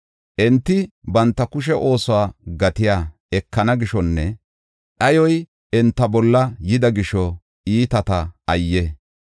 Enti banta kushe oosuwa gatiya ekana gishonne dhayoy enta bolla yida gisho iitata ayye!